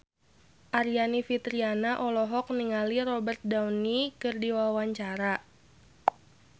Aryani Fitriana olohok ningali Robert Downey keur diwawancara